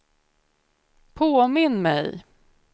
påminn mig